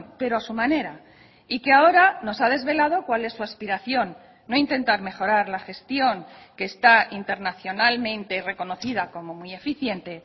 pero a su manera y que ahora nos ha desvelado cuál es su aspiración no intentar mejorar la gestión que está internacionalmente reconocida como muy eficiente